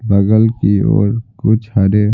बगल की ओर कुछ हरे--